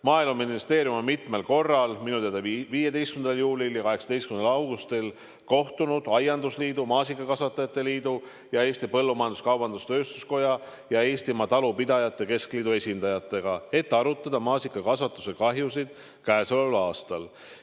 Maaeluministeerium on mitmel korral – minu teada 15. juulil ja 18. augustil – kohtunud aiandusliidu, maasikakasvatajate liidu, Eesti Põllumajandus-Kaubanduskoja ja Eestimaa Talupidajate Keskliidu esindajatega, et arutada maasikakasvatuse kahjusid käesoleval aastal.